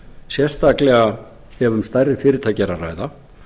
sérstaklega ef um stærri fyrirtæki er að ræða